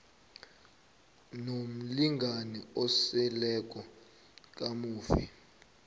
nomlingani oseleko kamufi